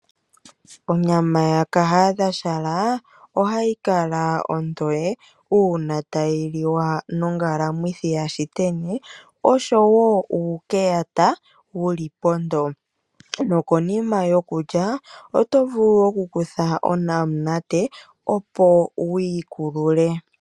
Onyama ya kahadhashala ohayi kaka ontowe, uuna tayi liwa nongala mwithi ya shiteni, osho wo uukeyata wuli ponto. Konima yokulya oto vulu oku kutha onamunate, opo wii kulule.